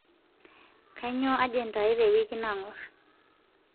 kainyoo ajenda aai tewiki nangor